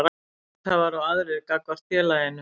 Hluthafar og aðrir gagnvart félaginu.